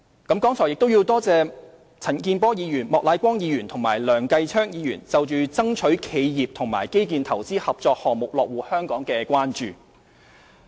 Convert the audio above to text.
我亦感謝陳健波議員、莫乃光議員及梁繼昌議員對爭取企業及基建投資合作項目落戶香港的關注。